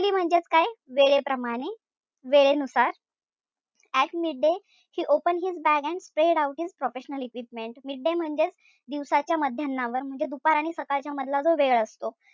वेळेप्रमाणे, वेळेनुसार at midday he open his bag and spread out his professional equipment midday म्हणजेच दिवसा्च्या मध्यानावर म्हणजे दुपार आणि सकाळच्या मधला जो वेळ असतो.